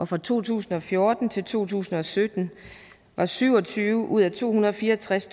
fra to tusind og fjorten til to tusind og sytten var syv og tyve ud af to hundrede og fire og tres